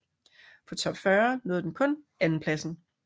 På Top 40 nåede den kun andenpladsen